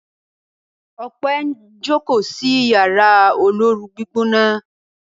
Ope njo ko sí Yàrá olóoru-gbígbóná.